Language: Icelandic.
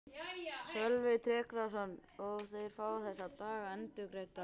Sölvi Tryggvason: Og þeir fá þessa daga endurgreidda eða hvað?